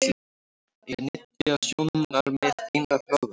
Eiga nytjasjónarmið ein að ráða?